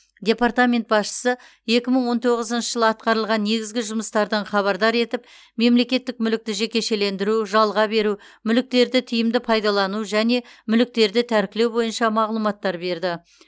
департамент басшысы екі мың он тоғызыншы жылы атқарылған негізгі жұмыстардан хабардар етіп мемлекеттік мүлікті жекешелендіру жалға беру мүліктерді тиімді пайдалану және мүліктерді тәркілеу бойынша мағлұматтар берді